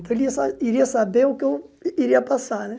Então ele ia sa iria saber o que eu iria passar, né?